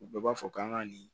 U bɛɛ b'a fɔ k'an ka nin